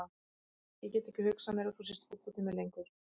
Ég get ekki hugsað mér að þú sért fúll út í mig lengur.